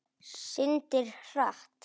Syndir hratt.